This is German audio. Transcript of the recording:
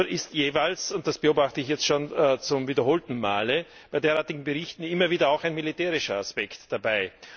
Nur ist jeweils und das beobachte ich jetzt schon zum wiederholten Male bei derartigen Berichten immer wieder auch ein militärischer Aspekt dabei.